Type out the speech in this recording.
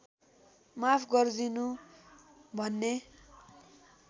माफ गर्दिनु भन्ने